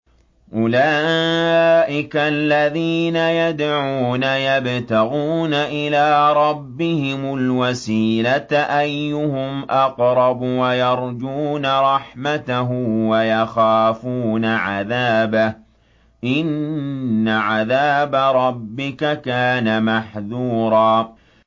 أُولَٰئِكَ الَّذِينَ يَدْعُونَ يَبْتَغُونَ إِلَىٰ رَبِّهِمُ الْوَسِيلَةَ أَيُّهُمْ أَقْرَبُ وَيَرْجُونَ رَحْمَتَهُ وَيَخَافُونَ عَذَابَهُ ۚ إِنَّ عَذَابَ رَبِّكَ كَانَ مَحْذُورًا